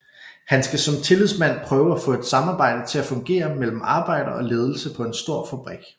Han skal som tillidsmand prøve at få et samarbejde til at fungere mellem arbejder og ledelse på en stor fabrik